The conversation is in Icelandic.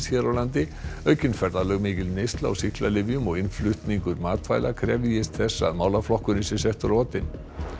hér á landi aukin ferðalög mikil neysla á sýklalyfjum og innflutningur matvæla krefjist þess að málaflokkurinn sé settur á oddinn